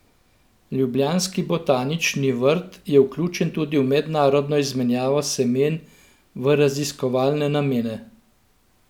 Ljubljanski botanični vrt je vključen tudi v mednarodno izmenjavo semen v raziskovalne namene.